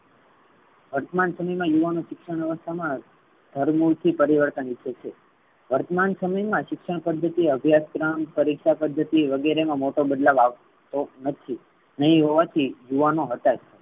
વર્તમાન સમય મા યુવાનો શિક્ષણ વ્યવસ્થા મા દૃઢ઼મોશી પરિવર્તન ઈચ્છે છે. વર્તમાન સમય મા શિક્ષણ પદ્ધતિ અભ્યાસ ક્રમ પરીક્ષા પદ્ધતિ વગેરે નો મોટો બદલાવ આવતો નથી. અને એવું હોવાથી યુવાનો હતાશ છે.